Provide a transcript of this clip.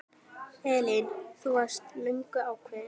Elín: Þú varst löngu ákveðin?